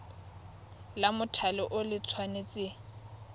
la mothale o le tshwanetse